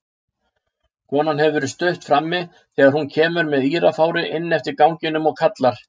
Konan hefur verið stutt frammi þegar hún kemur með írafári inn eftir ganginum og kallar